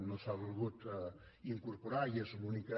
no s’ha volgut incorporar i és l’única